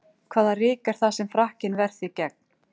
Hvaða ryk er það sem frakkinn ver þig gegn?